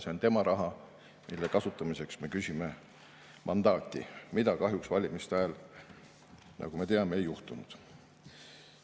See on nende raha, mille kasutamiseks me küsime mandaati, mida kahjuks valimiste ajal, nagu me teame, ei juhtunud.